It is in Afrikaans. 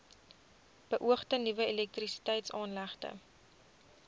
beoogde nuwe elektrisiteitsaanlegte